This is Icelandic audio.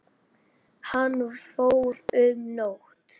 Hann fór um nótt.